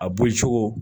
A bɔ cogo